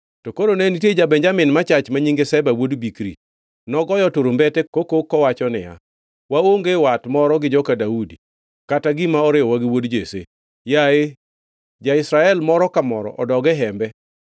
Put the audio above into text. To koro ne nitie ja-Benjamin machach ma nyinge Sheba wuod Bikri. Nogoyo turumbete kokok kowacho niya, “Waonge wat moro gi joka Daudi, kata gima oriwowa gi wuod Jesse! Yaye, ja-Israel moro ka moro odog e hembe!”